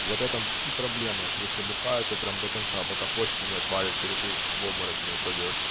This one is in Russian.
вот это и проблема если бухают а прямо до конца пока почти не отвалится ли ты в обморок не упадёшь